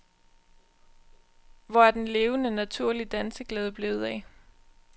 Hvor er den levende, naturlige danseglæde blevet af?